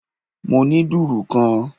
Mo ní dùrù kan